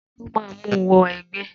Ta ló máa mú wọ ẹgbẹ́?